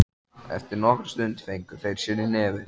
Eftir nokkra stund fengu þeir sér í nefið.